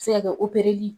Se ka kɛ opereli